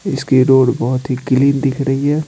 इसकी रोड बहुत ही क्लीन दिख रही है।